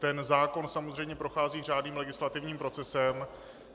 Ten zákon samozřejmě prochází řádným legislativním procesem.